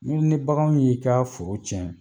Ni ni bagan y'i ka foro cɛn